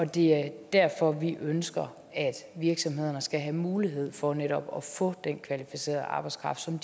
det er derfor vi ønsker at virksomhederne skal have mulighed for netop at få den kvalificerede arbejdskraft som